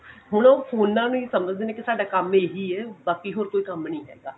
ਹੁਣ ਉਹ ਫੋਨਾ ਨੂੰ ਹੀ ਸਮਝਦੇ ਨੇ ਕਿ ਸਾਡਾ ਕੰਮ ਇਹੀ ਐ ਬਾਕੀ ਹੋਰ ਕੋਈ ਕੰਮ ਨਹੀਂ ਹੈਗਾ